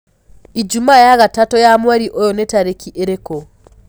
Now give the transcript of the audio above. ijũmaa ya gatatu ya mwerĩ uyu ni tarĩkĩ ĩrĩkũ